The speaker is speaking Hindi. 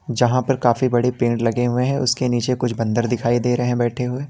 जहां पर काफी बड़ी पेड़ लगे हुए हैं उसके नीचे कुछ बंदर दिखाई दे रहे हैं बैठे हुए।